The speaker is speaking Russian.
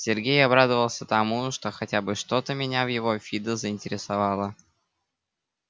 сергей обрадовался тому что хотя бы что-то меня в его фидо заинтересовало